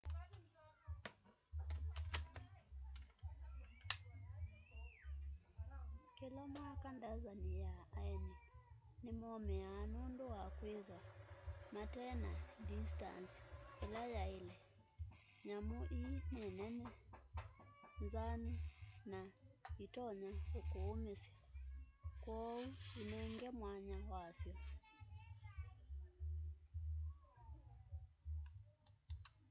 kila mwaka ndasani ya aeni nimomíaa nundu wa kwithwa mate na ndistanzi ila yaile. nyamu ii ni nene nzanu na itonya úkúúmísya kwoou inenge mwanya wasyo